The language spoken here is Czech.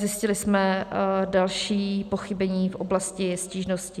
Zjistili jsme další pochybení v oblasti stížností.